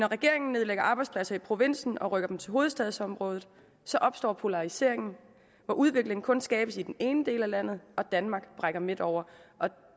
regeringen nedlægger arbejdspladser i provinsen og rykker dem til hovedstadsområdet opstår polariseringen hvor udviklingen kun skabes i den ene del af landet og danmark brækker midt over og